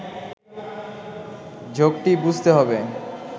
ঝোঁকটি বুঝতে হবে